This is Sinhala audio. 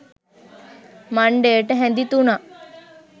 මණ්ඩයට හැඳි තුනක්,